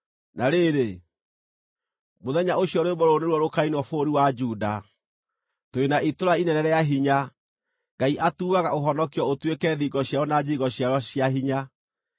Na rĩrĩ, mũthenya ũcio rwĩmbo rũrũ nĩruo rũkainwo bũrũri wa Juda: Tũrĩ na itũũra inene rĩa hinya; Ngai atuuaga ũhonokio ũtuĩke thingo ciarĩo na njirigo ciarĩo cia hinya.